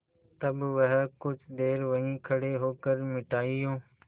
तब वह कुछ देर वहीं खड़े होकर मिठाइयों